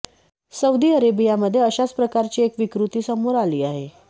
Saudi अरेबियामध्ये अशाच प्रकारची एक विकृती समोर आली आहे